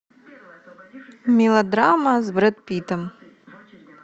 мелодрама с брэд питтом